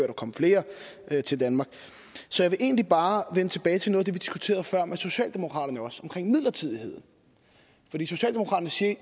der kom flere til danmark så jeg vil egentlig bare vende tilbage til noget af det diskuterede med socialdemokraterne omkring midlertidigheden fordi socialdemokraterne siger i